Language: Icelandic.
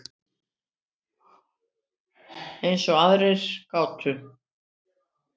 Eins og að ráða gátu.